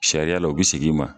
Sariya la, o bi segin i ma.